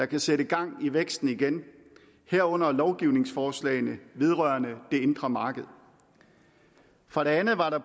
kan sætte gang i væksten herunder lovgivningsforslagene vedrørende det indre marked for det andet var der